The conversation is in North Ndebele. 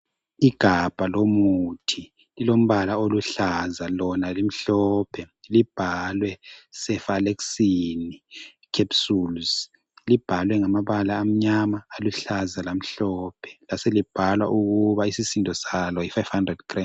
Igabha lomuthi lilombala oluhlaza lona limhlophe libhalwe cefalexin capsules. Libhalwe ngamabala amnyama, aluhlaza lamhlophe laselibhalwa ukuba isisindo salo yi500grames